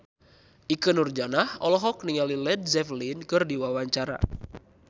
Ikke Nurjanah olohok ningali Led Zeppelin keur diwawancara